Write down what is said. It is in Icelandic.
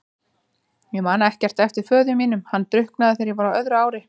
Ég man ekkert eftir föður mínum, hann drukknaði þegar ég var á öðru ári.